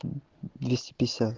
двести пятьдесят